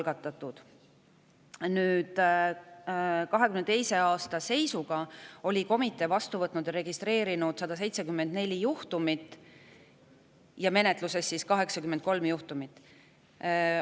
2022. aasta seisuga oli komitee vastu võtnud ja registreerinud 174 juhtumit ja menetluses oli neist 83 juhtumit.